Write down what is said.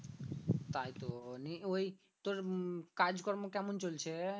তাইতো নিয়ে ওই তোর উম কাজকর্ম কেমন চলছে?